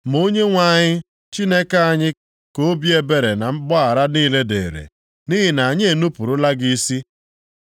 Ma Onyenwe anyị Chineke anyị ka obi ebere na mgbaghara niile dịrị, nʼihi na anyị enupurula gị isi.